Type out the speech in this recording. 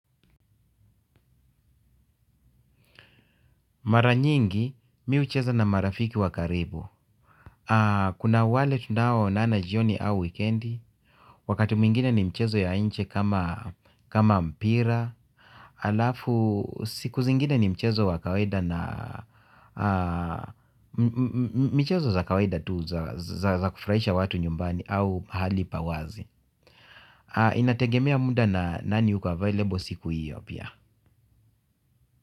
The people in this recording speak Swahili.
Mara nyingi, mi hucheza na marafiki wa karibu. Kuna wale tunaonana jioni au weekendi, wakati mwingine ni michezo ya nje kama mpira, alafu siku zingine ni mchezo wa kawaida na michezo za kawaida tu za kufurahisha watu nyumbani au pahali pa wazi. Inategemea muda na nani yuko available siku hiyo pia.